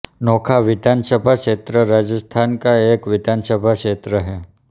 नोखा विधानसभा क्षेत्र राजस्थान का एक विधानसभा क्षेत्र है